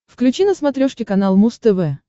включи на смотрешке канал муз тв